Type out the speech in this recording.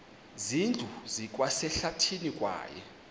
zindlu zikwasehlathini kwaye